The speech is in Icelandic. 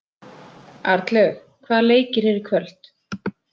Arnlaug, hvaða leikir eru í kvöld?